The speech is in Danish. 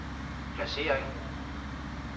placering